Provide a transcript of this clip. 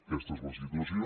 aquesta és la situació